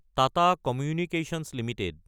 Tata communications Ltd